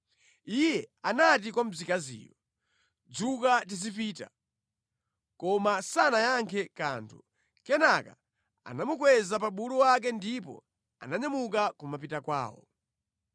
Iye anati kwa mkaziyo, “Dzuka tizipita.” Koma sanayankhe kanthu. Kenaka anamukweza pa bulu wake ndipo ananyamuka kumapita kwawo.